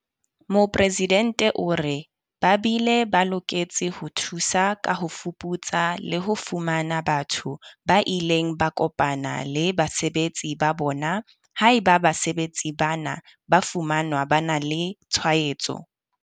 Mopresidente o re, ba bile ba loketse ho thusa ka ho fuputsa le ho fumana batho ba ileng ba kopana le basebetsi ba bona, haeba basebetsi bana ba fumanwa ba na le tshwaetso.